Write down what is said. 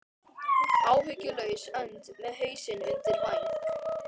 Áhyggjulaus önd með hausinn undir væng.